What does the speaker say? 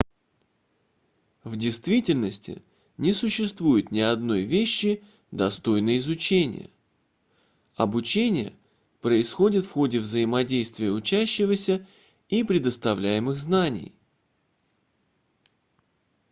в действительности не существует ни одной вещи достойной изучения обучение происходит в ходе взаимодействия учащегося и предоставляемых знаний